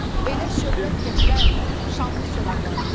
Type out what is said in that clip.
Elə şöhrət gətirən şanlı soraqlarımız.